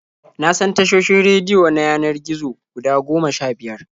Na san tashoshin rediyo na yanar gizo guda goma sha-biyar.